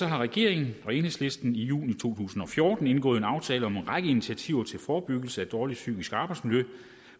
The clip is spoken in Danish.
har regeringen og enhedslisten i juni to tusind og fjorten indgået en aftale om en række initiativer til forebyggelse af dårligt psykisk arbejdsmiljø